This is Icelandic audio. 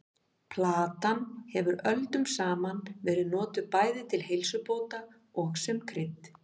Plantan hefur öldum saman verið notuð bæði til heilsubóta og sem krydd.